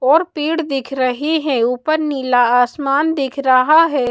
और पेड़ दिख रहे हैं ऊपर नीला आसमान दिख रहा है।